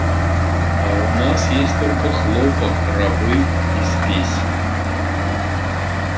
а у нас есть только хлопок рабы и спесь